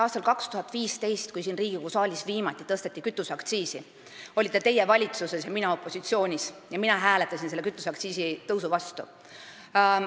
Aastal 2015, kui siin Riigikogu saalis viimati tõsteti kütuseaktsiisi, olite teie valitsuses ja mina opositsioonis ning mina hääletasin kütuseaktsiisi tõusu vastu.